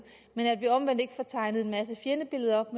men at vi omvendt ikke får tegnet en masse fjendebilleder op